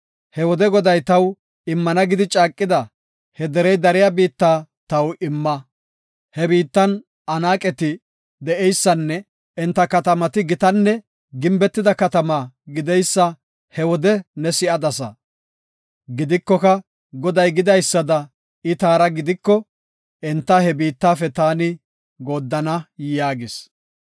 He wode Goday taw immana gidi caaqida he derey dariya biitta taw imma. He biittan Anaaqeti de7eysanne enta katamati gitanne gimbetida katama gideysa he wode ne si7adasa. Gidikoka Goday gidaysada I taara gidiko, enta he biittafe taani gooddana” yaagis.